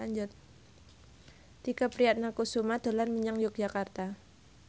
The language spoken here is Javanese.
Tike Priatnakusuma dolan menyang Yogyakarta